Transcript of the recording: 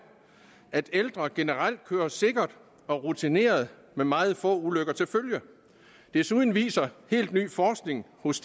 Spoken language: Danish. at ældre generelt kører sikkert og rutineret med meget få ulykker til følge desuden viser helt ny forskning hos